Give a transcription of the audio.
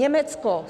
Německo.